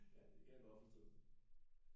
Ja det kan jeg godt forstå